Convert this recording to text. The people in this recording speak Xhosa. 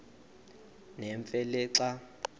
nemfe le xa